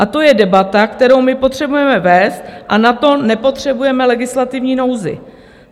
A to je debata, kterou my potřebujeme vést, a na to nepotřebujeme legislativní nouzi.